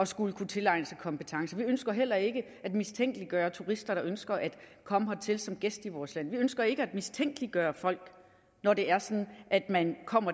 skulle kunne tilegne sig kompetencer vi ønsker heller ikke at mistænkeliggøre turister der ønsker at komme hertil som gæster i vores land vi ønsker ikke at mistænkeliggøre folk når det er sådan at man kommer